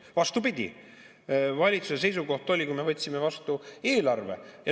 Vastupidi, valitsuse seisukoht oli, kui me võtsime vastu eelarve ...